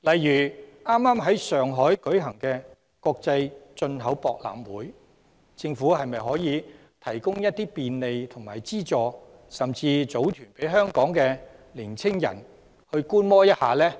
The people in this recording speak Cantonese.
以剛剛在上海開幕的中國國際進口博覽會為例，政府可否提供便利和資助，甚至組團讓香港的年青人到場觀摩呢？